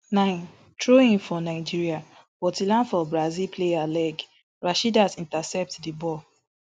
nine throwin for nigeria but e land for brazil player leg rasheedat intercept di ball